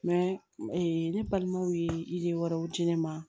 ne balimaw ye wɛrɛw di ne ma